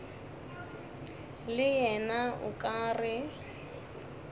le yena o ka re